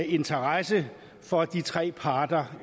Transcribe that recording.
interesse for de tre parter